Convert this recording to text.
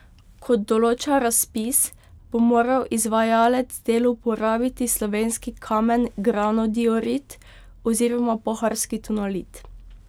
Kot določa razpis, bo moral izvajalec del uporabiti slovenski kamen granodiorit oziroma pohorski tonalit.